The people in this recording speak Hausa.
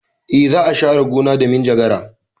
E, za a share gona da minjagara.